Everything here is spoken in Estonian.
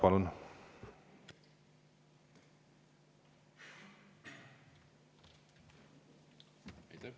Palun!